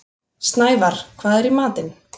Snævarr, hvað er í matinn?